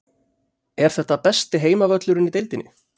Er þetta besti heimavöllurinn í deildinni?